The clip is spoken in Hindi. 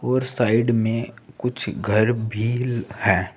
और साइड में कुछ घर भी है।